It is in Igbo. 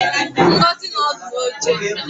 Ngozi no odu n'uche